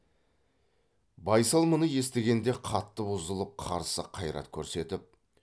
байсал мұны естігенде қатты бұзылып қарсы қайрат көрсетіп